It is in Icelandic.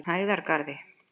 Hæðargarði